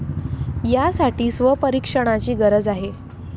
यासाठी स्वपरीक्षणाची गरज आहे.